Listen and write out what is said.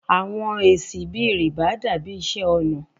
Awọn esi bi riba dabi iṣẹ ọna